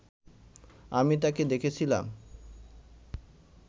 আমি তাকে দেখেছিলাম